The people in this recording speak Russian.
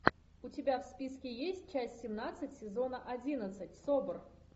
у тебя в списке есть часть семнадцать сезона одиннадцать собр